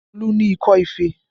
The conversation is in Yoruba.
Olu ni ikọ́ ife